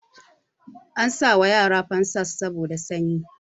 Ana sa wa yara famfas saboda sanyi